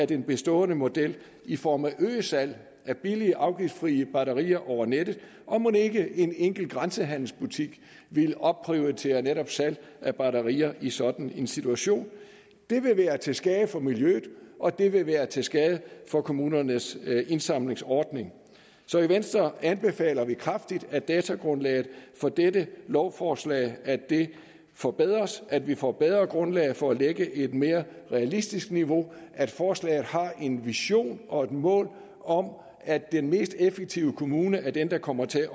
den bestående model i form af øget salg af billige afgiftsfrie batterier over nettet og mon ikke en enkelt grænsehandelsbutik vil opprioritere netop salg af batterier i sådan en situation det vil være til skade for miljøet og det vil være til skade for kommunernes indsamlingsordning så i venstre anbefaler vi kraftigt at datagrundlaget for dette lovforslag forbedres at vi får et bedre grundlag for at lægge et mere realistisk niveau og at forslaget har en vision og et mål om at den mest effektive kommune er den der kommer til